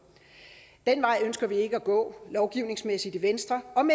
den vej ønsker vi ikke at gå lovgivningsmæssigt i venstre om